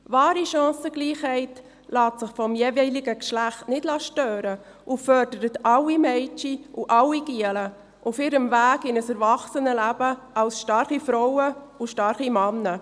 Wahre Chancengleichheit lässt sich vom jeweiligen Geschlecht nicht stören und fordert alle Mädchen und alle Knaben auf ihrem Weg in ein Erwachsenenleben als starke Frauen und starke Männer.